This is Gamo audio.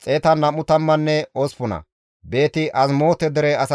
Makimaase dere asatappe 122;